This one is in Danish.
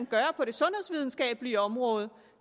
gøre på det sundhedsvidenskabelige område